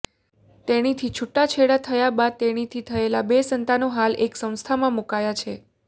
તેણી સાથે છુટાછેડા થયા બાદ તેણીથી થયેલા બે સંતાનો હાલ એક સંસ્થામાં મુકયા છે